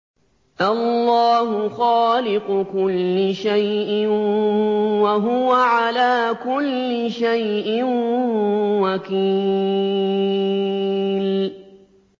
اللَّهُ خَالِقُ كُلِّ شَيْءٍ ۖ وَهُوَ عَلَىٰ كُلِّ شَيْءٍ وَكِيلٌ